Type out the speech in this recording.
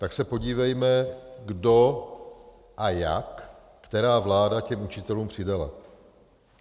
Tak se podívejme, kdo a jak, která vláda těm učitelům přidala.